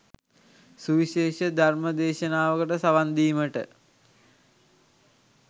සුවිශේෂ ධර්ම දේශනාවකට සවන්දීමට